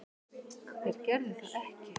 Þeir gerðu það ekki